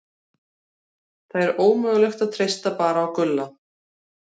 Það er ómögulegt að treysta bara á Gulla.